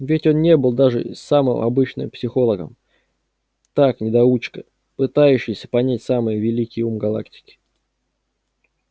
ведь он не был даже самым обычным психологом так недоучка пытающийся понять самый великий ум галактики